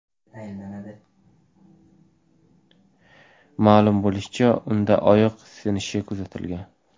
Ma’lum bo‘lishicha, unda oyoq sinishi kuzatilgan.